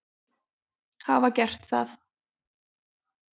hafa gert það.